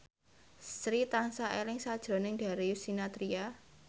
Sri tansah eling sakjroning Darius Sinathrya